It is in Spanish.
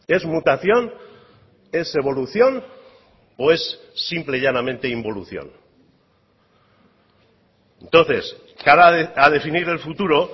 es mutación es evolución o es simple y llanamente involución entonces cara a definir el futuro